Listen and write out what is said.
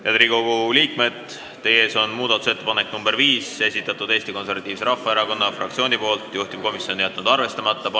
Head Riigikogu liikmed, teie ees on muudatusettepanek nr 5, mille on esitanud Eesti Konservatiivse Rahvaerakonna fraktsioon, juhtivkomisjon on jätnud selle ettepaneku arvestamata.